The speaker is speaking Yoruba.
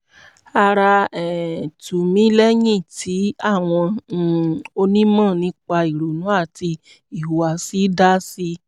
ara um tù mí lẹ́yìn tí àwọn um onímọ̀ nípa ìrònú àti ìhùwàsí dá sí i